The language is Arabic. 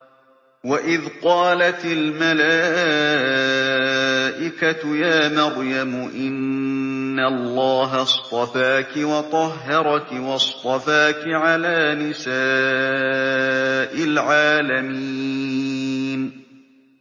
وَإِذْ قَالَتِ الْمَلَائِكَةُ يَا مَرْيَمُ إِنَّ اللَّهَ اصْطَفَاكِ وَطَهَّرَكِ وَاصْطَفَاكِ عَلَىٰ نِسَاءِ الْعَالَمِينَ